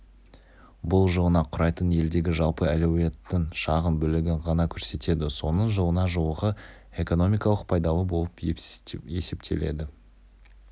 бұл жылына құрайтын елдегі жалпы әлеуеттің шағын бөлігін ғана көрсетеді соның жылына жуығы экономикалық пайдалы болып есептеледі